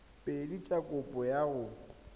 pedi tsa kopo ya go